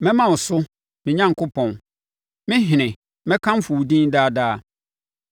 Mɛma wo so, me Onyankopɔn, me Ɔhene; mɛkamfo wo din daa daa.